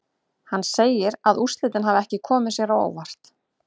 Hann segir að úrslitin hafi ekki komið sér á óvart.